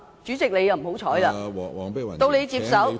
主席，你運氣不好，到你接手......